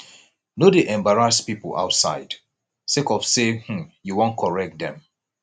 no dey embarrass pipo outside sake of sey um you wan correct dem